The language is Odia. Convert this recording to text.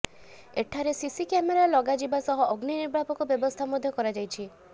ଏଠାରେ ସିସି କ୍ୟାମେରା ଲଗାଯିବା ସହ ଅଗ୍ନି ନିର୍ବାପକ ବ୍ୟବସ୍ଥା ମଧ୍ୟ କରାଯାଇଛି